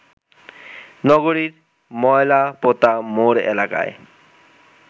নগরীর ময়লাপোতা মোড় এলাকায়